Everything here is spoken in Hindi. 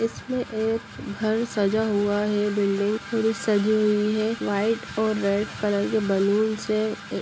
इसमें एक घर सजा हुआ है बिल्डिंग पूरी सजी हुई है व्हाइट और रेड कलर के बलूंस से।